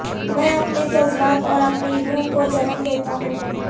میں اپنے جذبات اور اپنی روح کو جنم دیتا ہوں